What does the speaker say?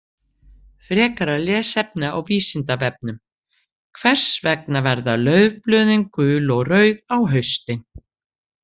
Frekara lesefni á Vísindavefnum: Hvers vegna verða laufblöðin gul og rauð á haustin?